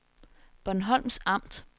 Bornholms Amt